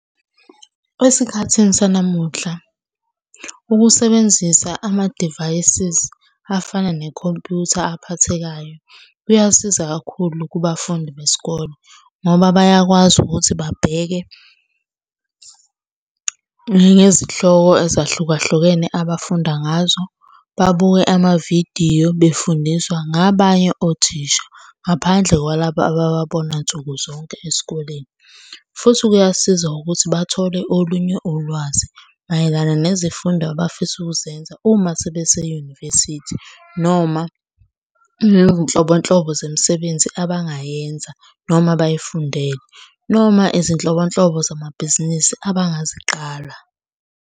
Esikhathini sanamuhla, ukusebenzisa ama-devices afana nekhompyutha aphathekayo kuyasiza kakhulu kubafundi besikole ngoba bayakwazi ukuthi babheke ngezihloko ezahlukahlukene abafunda ngazo, babuke amavidiyo befundiswa ngabanye othisha. Ngaphandle kwalaba abababona nsuku zonke esikoleni, futhi kuyasiza ukuthi bathole olunye ulwazi mayelana nezifundo abafisa ukuzenza uma sebese-university noma nezinhlobonhlobo zemisebenzi abangayenza noma bayifundele noma izinhlobonhlobo zamabhizinisi abangaziqala.